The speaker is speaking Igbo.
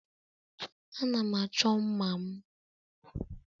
Ana m achọ mma' m.